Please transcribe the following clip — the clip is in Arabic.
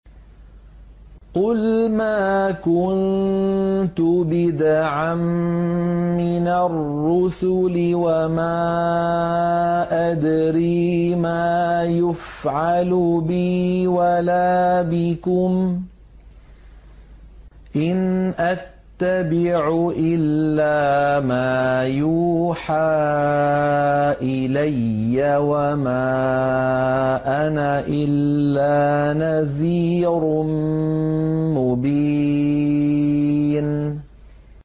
قُلْ مَا كُنتُ بِدْعًا مِّنَ الرُّسُلِ وَمَا أَدْرِي مَا يُفْعَلُ بِي وَلَا بِكُمْ ۖ إِنْ أَتَّبِعُ إِلَّا مَا يُوحَىٰ إِلَيَّ وَمَا أَنَا إِلَّا نَذِيرٌ مُّبِينٌ